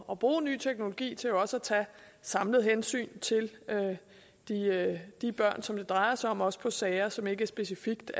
at bruge ny teknologi til også at tage samlet hensyn til de børn som det drejer sig om også i sager som ikke er specifikt